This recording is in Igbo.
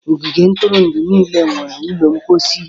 Ogige ntụrụndụ niile nwere ụlọ mposi.